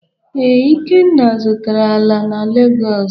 Ee, Ikenna zụtara ala na Legọs.